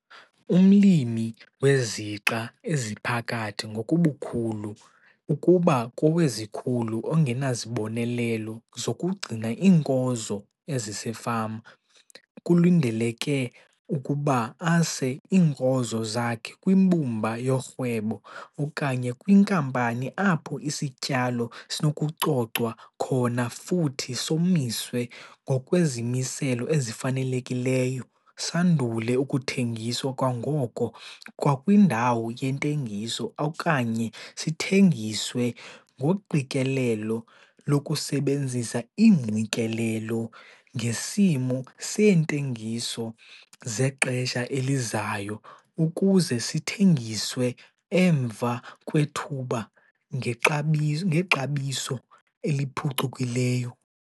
Umlimi wezixa eziphakathi ngokubukhulu ukuba kowezikhulu ongenazibonelelo zokugcina iinkozo ezisefama kulindeleke ukuba ase iinkozo zakhe kwimbumba yorhwebo okanye kwinkampani apho isityalo sinokucocwa khona futhi somiswe ngokwezimiselo ezifanelekileyo sandule ukuthengiswa kwangoko 'kwakwindawo' yentengiso okanye sithengiswe ngoqikelelo lokusebenzisa iingqikelelo ngesimo seentengiso zexesha elizayo ukuze sithengiswe emva kwethuba ngexa ngexabiso eliphucukileyo.